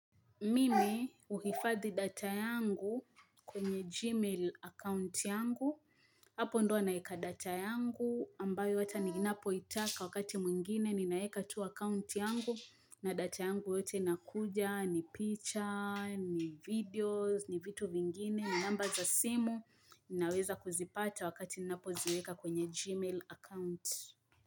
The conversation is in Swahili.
Mimi huhifadhi data yangu kwenye gmail account yangu, hapo ndo naeka data yangu ambayo hata ninapoitaka wakati mwingine ninaeka tu account yangu na data yangu yote inakuja, ni picha, ni videos, ni vitu vingine, ni namba za simu, ninaweza kuzipata wakati ninapoziweka kwenye gmail account.